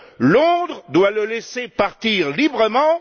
Londres doit le laisser partir librement.